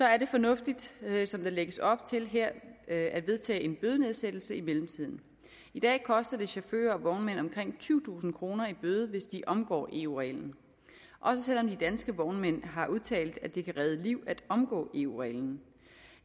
er det fornuftigt som der lægges op til her at vedtage en bødenedsættelse i mellemtiden i dag koster det chauffører og vognmænd omkring tyvetusind kroner i bøde hvis de omgår eu reglen også selv om de danske vognmænd har udtalt at det kan redde liv at omgå eu reglen